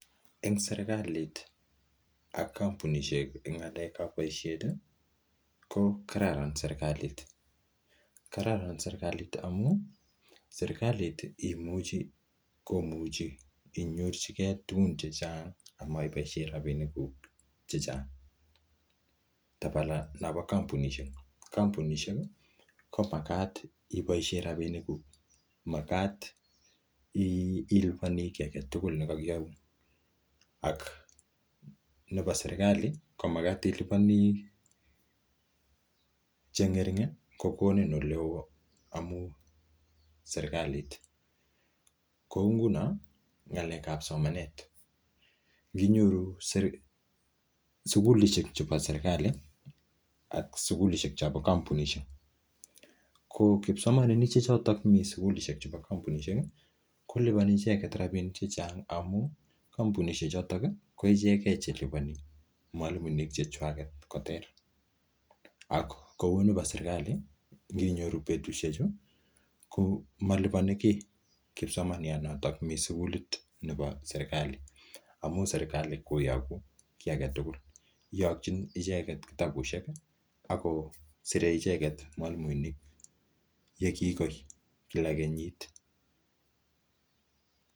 En serkalit ak kompunishek en ng'alekab boisiet ko kararan serkalit. Kararan serklait amun sekalit komuchi inyorjige tugun chechang ama iboisie rabinikuk chechang. Kotabala non bo kompunishek, kompunishek komagat iboishen rabinikuk magat iliponi kiy age tugul nekokiyoun. Nebo serkali komagat iliponi che ng'ering kogonin ole oo amun serkalit. Kou nguno ng'alekab somanet, nginyoru sugulishek chobo serkalit ak sugulishek chombo kompunishek ko kipsomaninik che choto misugulishek chombo kompunishek ko liponi ichegte rabinik chechang amun kompunishek koichege che liponi mwalimuinik che chwak koter ak kounebo serkalit koninyoru betusheju komaliponi kiy kipsomaniat noto mi sugulit nebo serikali, amun serekalit koyogu kiy age tugul, iyokiin icheget kitabushek ago sire mwalimuinik ye kigoi kila kenyit.